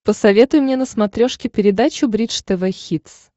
посоветуй мне на смотрешке передачу бридж тв хитс